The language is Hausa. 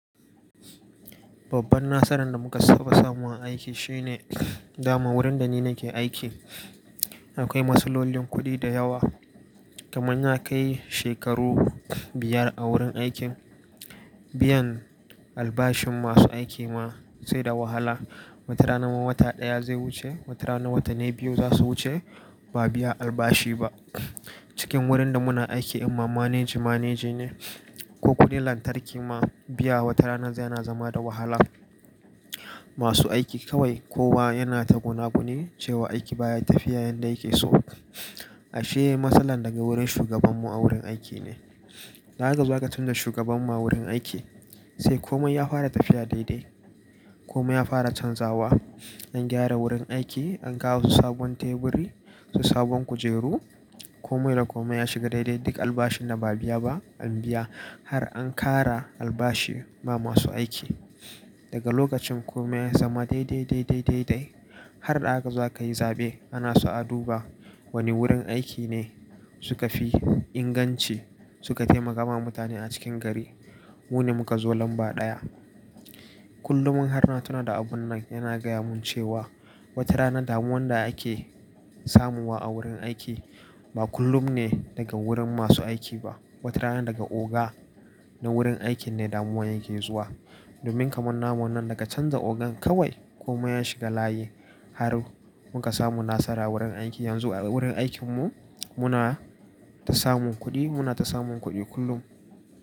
Babban nasaran da muka taɓa samu a aiki shine dama wurin da ni nake aiki akwai masu lolin kuɗi da yawa. Kamanya kai shekaru biyar a wurin aikin biyan albashin masu aiki ma sai da wahala. Wata rana ma wata ɗaya zai wuce, wata rana watanni biyu za su wuce ba biya albashi ba. Cikin wurin da muna aiki in ma manage manage ne ko kuɗin lantarki ma biya wata rana zai yana zama da wahala. Masu aiki kawai kowa yana ta gunaguni cewa aiki baya tafiya yanda yake so. Ashe matsalar daga wurin shugaban mu a wurin aiki ne. Da aka zo aka canza shugaban mu wurin aiki sai komai ya fara tafiya daidai. Komai ya fara canzawa. An gyara wurin aiki, an kawo su sabon teburi, su sabon kujeru. Komai da komai ya shiga daidai. Duk albashin da ba a biya ba an biya har an kara albashi ba masu aiki. Daga lokacin komai ya zama daidai, daidai, daidai har da aka zo ka yi zaɓe ana so a duba wane wurin aiki ne suka fi inganci suka taimaka ma mutane a cikin gari. Mune muka zo lamba ɗaya. Kullum in har ina tuna da abun nan yana gaya mun cewa wata rana damuwan da ake samuwa a wurin aiki ba kullum ne daga wurin masu aiki ba. Wata rana daga oga na wurin aikin ne damuwan yake zuwa. Domin kaman namu nan daga canja ogan kawai komai ya shiga layi har muka samu nasara wurin aiki. Yanzu a wurin aikin mu muna ta samun kuɗi, muna ta samun kuɗi kullum.